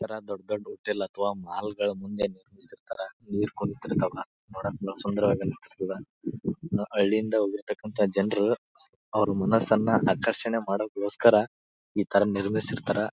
ಇತರ ದೊಡ್ಡ್ ದೊಡ್ಡ್ ಹೋಟೆಲ್ ಅಥವಾ ಮಾಲ್ ಗಳ ಮುಂದೆ ನಿಲ್ಸಿರ್ತರ ನೀರು ಕುಡಿತೀರ್ತವ ನೋಡಾಕ ಎಲ್ಲ ಸುಂದರವಾಗಿ ಅನಿಸಿರ್ತದ ಹಳ್ಳಿ ಯಿಂದ ಹೋಗಿರ್ತಕಂತ ಜನರು ಅವರ ಮನಸನ್ನ ಆಕರ್ಷಣ ಮಾಡಗೊಸ್ಕರ ಇತರ ನಿರ್ಮಿಸಿರ್ತಾರ.